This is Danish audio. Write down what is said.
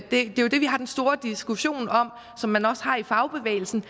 det er jo det vi har den store diskussion om som man også har i fagbevægelsen